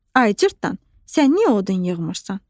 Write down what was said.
Ay Cırtdan, sən niyə odun yığmırsan?